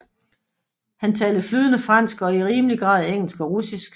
Han talte flydende fransk og i rimelig grad engelsk og russisk